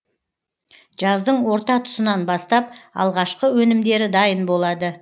жаздың орта тұсынан бастап алғашқы өнімдері дайын болады